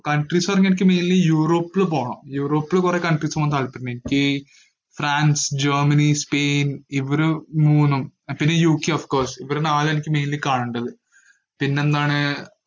countries ന്ന് പറഞ്ഞാ എനിക്ക് mainly യൂറോപ്പില് പോണം. യൂറോപ്പിൽ കൊറേ countries പോകാൻ താല്പര്യം ഇണ്ട്, എനിക്ക് ഫ്രാൻസ്, ജർമ്മനി, സ്പെയിൻ ഇവര് മൂന്നും പിന്നെ യു ക്കെ of course ഇവര് നാലും എനിക്ക് mainly കാണണ്ടത്, പിന്നെന്താണ്